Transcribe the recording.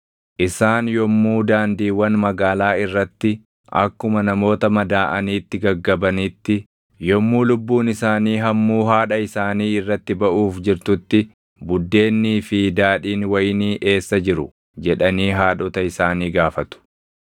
Isaan yommuu daandiiwwan magaalaa irratti akkuma namoota madaaʼaniitti gaggabanitti, yommuu lubbuun isaanii hammuu haadha isaanii irratti baʼuuf jirtutti “Buddeennii fi daadhiin wayinii eessaa jiru?” jedhanii haadhota isaanii gaafatu.